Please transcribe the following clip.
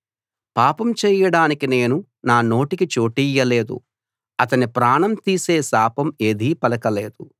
పాపం చేయడానికి నేను నా నోటికి చోటియ్యలేదు అతని ప్రాణం తీసే శాపం ఏదీ పలకలేదు